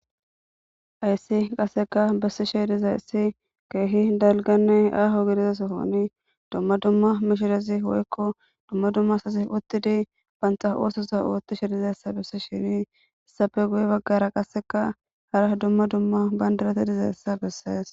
Hayssi qasseka bessi shey dizayssi keehi dalganne aaho gidizasahoni dumma dumma mishirezi woykko dumma dumma asasif uttidi banxa oososa oottishe dizayssa bessi shini hissafe guye baggara qasseka hara dumma dumma bandirate dizayssa bessees